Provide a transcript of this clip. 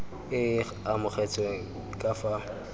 e e amogetsweng ka fa